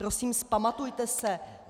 Prosím, vzpamatujte se.